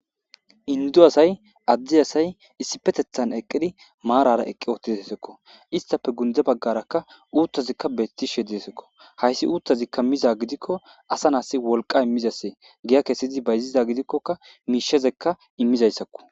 indu asay addi asay issipetethan eqqidi maarara eqqi uttizassakko istafe gunde baggarakka uuttazikka beettishe deesekko hayssi uuttazikka miza gidikko asa naasi wolqa immizasee giya keesidi bayzida gidikkoka miishezekka immizayssakko